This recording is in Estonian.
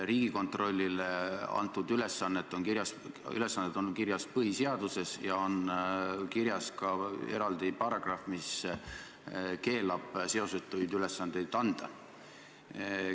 Riigikontrollile antud ülesanded on kirjas põhiseaduses ja on kirjas ka eraldi paragrahv, mis keelab seosetuid ülesandeid anda.